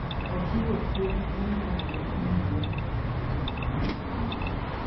Ochiwo siem ni nyalore ni milionde mag nyithindo inyalo dhir